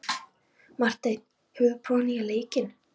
Marteinn, hefur þú prófað nýja leikinn?